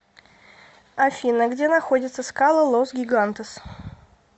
афина где находятся скалы лос гигантес